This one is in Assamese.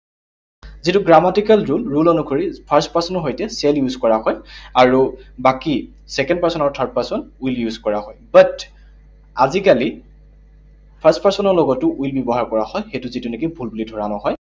যিটো grammatical rule, rule অনুসৰি first person ৰ সৈতে shall use কৰা হয়। আৰু বাকী second person আৰু third person will use কৰা হয়। But আজিকালি first person ৰ লগতো will ব্যৱহাৰ কৰা হয়, সেইটো যিটো নেকি ভুল বুলি ধৰা নহয়।